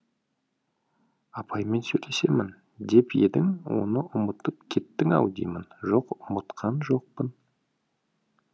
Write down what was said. апаймен сөйлесемін деп едің оны ұмытып кеттің ау деймін жоқ ұмытқан жоқпын